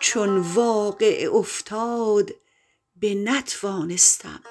چون واقعه افتاد بنتوانستم